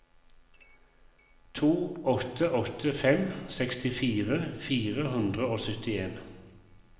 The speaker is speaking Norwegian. to åtte åtte fem sekstifire fire hundre og syttien